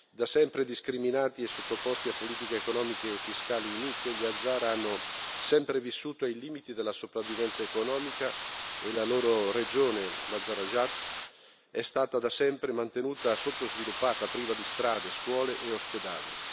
Da sempre discriminati e sottoposti a politiche economiche e fiscali inique, gli hazara hanno sempre vissuto ai limiti della sopravvivenza economica e la loro regione, l'Hazarajat, è stata da sempre mantenuta sottosviluppata, priva di strade, scuole e ospedali.